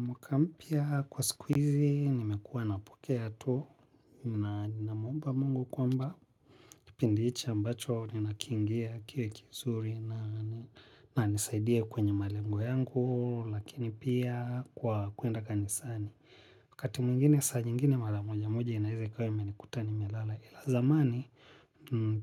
Mwaka mpia kwa sikuizi, nimekuwa na pokea ato, na ninamwomba mungu kwamba, kipindichi ambacho, nina kingia kiwe kizuri na nisaidia kwenye malengo yangu, lakini pia kwa kuenda kanisani. Wakati mwingine saa nyingine mala moja moja inaize ikawa imenikuta nimelala ila zamani